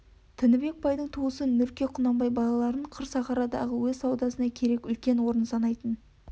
тінібек байдың туысы нұрке құнанбай балаларын қыр сахарадағы өз саудасына керек үлкен орын санайтын